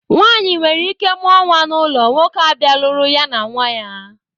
Nwaanyị nwereike mụọ nnwa n'ụlọ, nwoke abịa lụrụ ya na nnwa ya